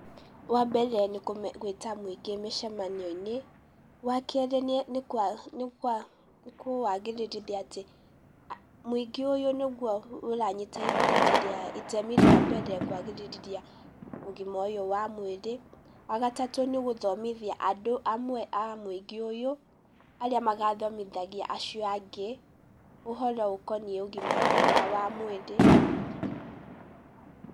Wa mbere nĩ gwĩta mũingĩ mĩcamanio-inĩ, wa kerĩ nĩ kũwagĩrithia atĩ, mũingĩ ũyũ nĩguo ũranyita itemi rĩa mbere kwagĩrithia ũgima ũyũ wa mwĩrĩ, wa gatatũ nĩ gũthomithia andũ amwe a mũingĩ ũyũ, arĩa magathomithagia acio angĩ, ũhoro ũkoniĩ ũgima mwega wa mwĩrĩ.